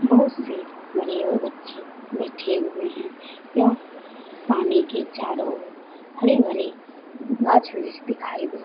बहुत से बड़े और बच्चे बैठे हुए हैं। यह पानी के चारों ओर हरे-भरे गाच्छ-वृक्ष दिखाई दे --